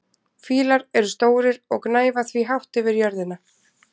Fílar eru stórir og gnæfa því hátt yfir jörðina.